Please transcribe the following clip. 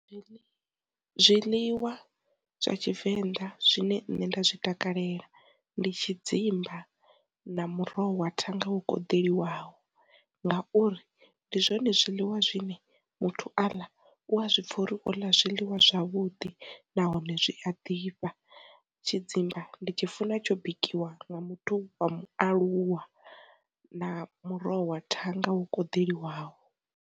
Zwiḽiwa zwa Tshivenḓa zwine nṋe nda zwi takalela ndi tshidzimba, na muroho wa thanga wo koḓelwaho, ngauri ndi zwone zwiḽiwa zwine muthu aḽa u a zwipfha uri u ḽa zwiḽiwa zwavhuḓi nahone zwi a ḓifha. Tshidzimba ndi tshi funa tsho bikiwa nga muthu wa mualuwa, na muroho wa thanga wo koḓeliwaho.